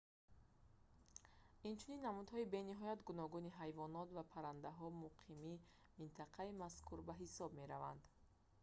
инчунин намудҳои бениҳоят гуногуни ҳайвонот ва паррандаҳо муқими минтақаи мазкур ба ҳисоб мераванд